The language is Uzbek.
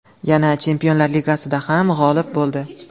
Yana Chempionlar Ligasida ham g‘olib bo‘ldi.